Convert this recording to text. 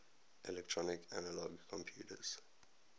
electronic analog computers